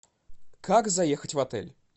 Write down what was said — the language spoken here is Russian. как заехать в отель